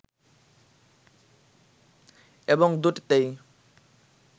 এবং দুটিতেই